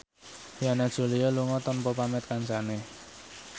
Yana Julio lunga tanpa pamit kancane